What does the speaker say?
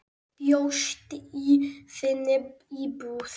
Bjóst í þinni íbúð.